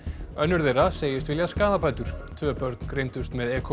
önnur þeirra segist vilja skaðabætur tvö börn greindust með e